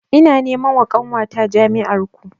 Ina nema wa ƙanwata jami'ar ku